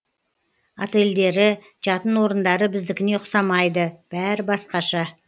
отельдері жатын орындары біздікіне ұқсамайды бәрі басқаша